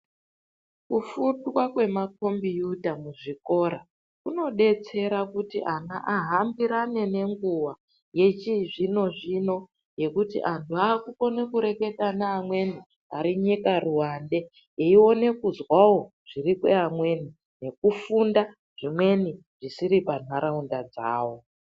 Kufundwa kwemakombiyuta muzvikora, kunodetsera kuti ana ahambirane nenguwa yechizvino-zvino yekuti anhu akukone kureketa neamweni ari nyika ruwande, eione kuzwawo zviri kweamweni nekufunda zvimweni zvisiri panharaunda dzawo.